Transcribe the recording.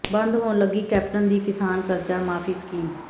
ਬੰਦ ਹੋਣ ਲੱਗੀ ਕੈਪਟਨ ਦੀ ਕਿਸਾਨ ਕਰਜ਼ਾ ਮਾਫ਼ੀ ਸਕੀਮ